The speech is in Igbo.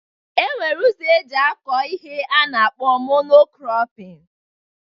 E nwere ụzọ eji akọ ihe a na-akpọ Mono-krọpin